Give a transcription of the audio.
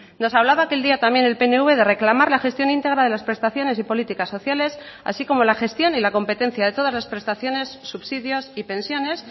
nos hablaba aquel día también el pnv de reclamar la gestión íntegra de las prestaciones y políticas sociales así como la gestión y la competencia de todas las prestaciones subsidios y pensiones